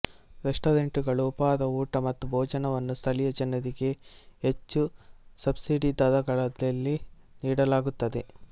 ರೆಸ್ಟಾರೆಂಟುಗಳು ಉಪಹಾರ ಊಟ ಮತ್ತು ಭೋಜನವನ್ನು ಸ್ಥಳೀಯ ಜನರಿಗೆ ಹೆಚ್ಚು ಸಬ್ಸಿಡಿ ದರದಲ್ಲಿ ನೀಡಲಾಗುತ್ತದೆ